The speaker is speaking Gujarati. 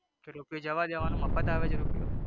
તો રૂપિયો જવા દેવાનો મફત આવે છે રૂપિયો.